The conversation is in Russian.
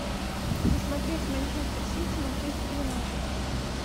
посмотреть манчестер сити манчестер юнайтед